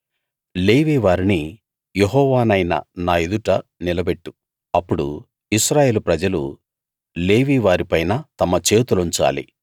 లేవీ వారిని యెహోవా నైన నా ఎదుట నిలబెట్టు అప్పుడు ఇశ్రాయేలు ప్రజలు లేవీ వారిపైన తమ చేతులుంచాలి